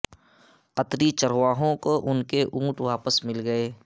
قطری چرواہوں کو ان کے اونٹ واپس مل گئے